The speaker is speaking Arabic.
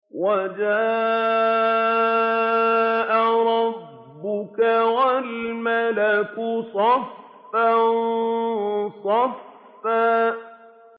وَجَاءَ رَبُّكَ وَالْمَلَكُ صَفًّا صَفًّا